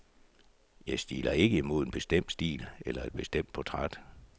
Jeg stiler ikke imod en bestemt stil eller et bestemt portræt.